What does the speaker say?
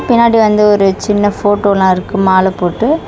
பின்னாடி வந்து ஒரு சின்ன போட்டோலா இருக்கு மால போட்டு.